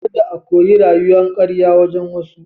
Kada a koyi rayuwan karya wurin wasu.